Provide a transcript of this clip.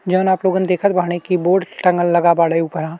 जोवन आप लोगन देखत बाड़े की बोर्ड टंगल लगा बाड़े ऊपरा।